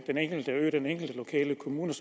den enkelte ø og den enkelte kommune